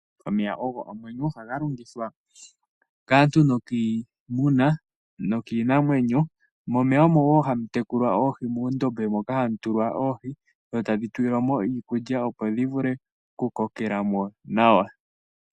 Omeya ogo omwenyo, ohaga longithwa kaantu nokiinamwenyo. Momeya omo wo hamu tekulwa oohi, moondombe moka hamu tulwa oohi dho tadhi tulilwa mo iikulya dhivule okukokela mo nawa.